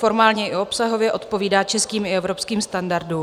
Formálně i obsahově odpovídá českým i evropským standardům.